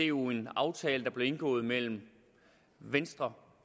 jo en aftale der blev indgået mellem venstre